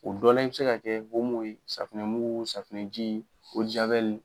O dɔla i be se ka kɛ omo ye safinɛmugu safunɛji o de jawɛli